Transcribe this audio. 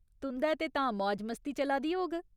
तुं'दै ते तां मौज मस्ती चला दी होग।